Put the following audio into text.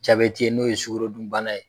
Jabɛti ye n'o ye sugorodun bana ye.